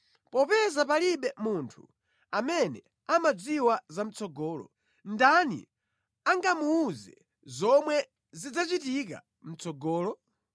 Popeza palibe munthu amene amadziwa zamʼtsogolo, ndani angamuwuze zomwe zidzachitika mʼtsogolo?